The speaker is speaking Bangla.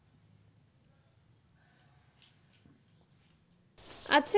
আচ্ছা